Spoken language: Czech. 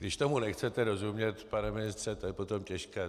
Když tomu nechcete rozumět, pane ministře, to je potom těžké.